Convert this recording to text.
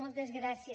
moltes gràcies